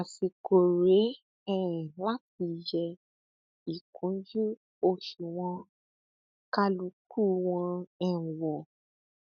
àsìkò rèé um láti yẹ ìkúnjú òṣùwọn kálukú wọn um wò